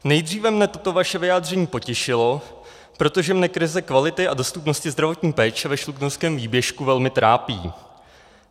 Nejdříve mě toto vaše vyjádření potěšilo, protože mě krize kvality a dostupnosti zdravotní péče ve Šluknovském výběžku velmi trápí.